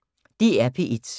DR P1